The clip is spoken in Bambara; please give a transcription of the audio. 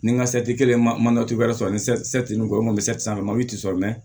Ni n ka kelen ma cogoya sɔrɔ malo ti sɔrɔ mɛ